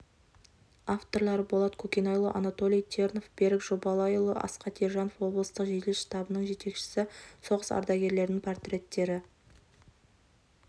авторлары болат көкенайұлы анатолий тернов берік жобалайұлы асхат ержанов облыстық жедел штабының жетекшісі соғыс ардагерлерінің портреттері